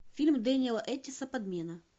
фильм дэниэла эттиэса подмена